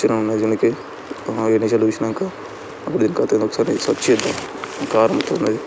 మంచిగా ఉన్న దీనికి ఆ ఐదు నిమిషాలు చూసినంక అప్పుడు దీని కథ ఏందో సర్చ్ చేద్దాం కార్ ఇంత వున్నది.